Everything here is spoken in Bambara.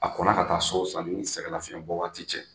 A kɔnna ka taa so sani sɛgɛnlafiɲɛbɔ waati cɛ